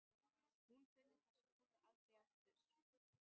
Hún finnur þessa kúlu aldrei aftur.